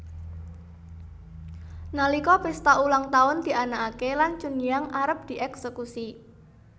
Nalika pesta ulang tahun dianakake lan Chunhyang arep dieksekusi